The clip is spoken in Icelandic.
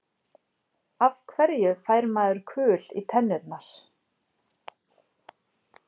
Af hverju fær maður kul í tennurnar?